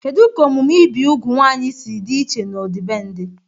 Kedu ka omume ibi úgwù ụmụ nwanyị si dị iche n'ọdịbendị?